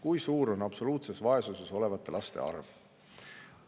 Kui suur on absoluutses vaesuses olevate laste arv?